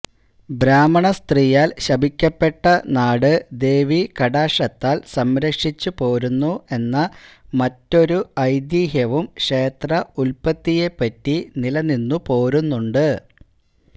ബ്രാഹ്മണസ്ത്രീയാൽ ശപിക്കപ്പെട്ട നാട് ദേവീകടാക്ഷത്താൽ സംരക്ഷിച്ചുപോരുന്നു എന്ന മറ്റൊരു ഐതിഹ്യവും ക്ഷേത്ര ഉത്പത്തിയെപ്പറ്റി നിലനിന്നുപോരുന്നുണ്ട്